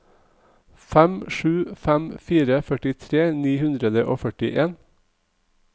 fem sju fem fire førtitre ni hundre og førtien